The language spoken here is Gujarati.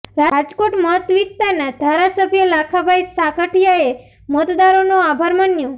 રાજકોટ મત વિસ્તારના ધારાસભ્ય લાખાભાઈ સાગઠીયાએ મતદારોનો આભાર માન્યો